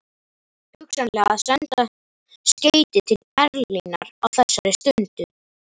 Hugsanlega að senda skeyti til Berlínar á þessari stundu.